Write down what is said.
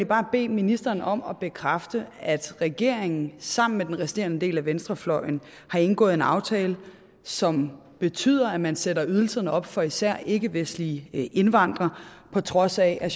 bare bede ministeren om at bekræfte at regeringen sammen med den resterende del af venstrefløjen har indgået en aftale som betyder at man sætter ydelserne op for især ikkevestlige indvandrere på trods af at